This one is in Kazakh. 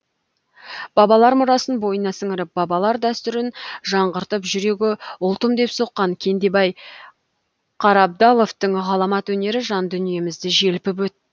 бабалар мұрасын бойына сіңіріп бабалар дәстүрін жаңғыртып жүрегі ұлтым деп соққан кендебай қарабдаловтың ғаламат өнері жан дүниемізді желпіп